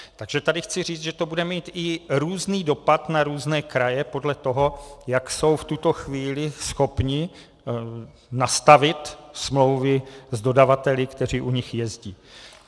Takže tady chci říct, že to bude mít i různý dopad na různé kraje podle toho, jak jsou v tuto chvíli schopny nastavit smlouvy s dodavateli, kteří u nich jezdí.